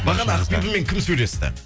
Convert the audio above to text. бағана ақбибімен кім сөйлесті